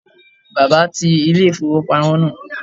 Bàbá ti ilé-ìfowópamọ́ náà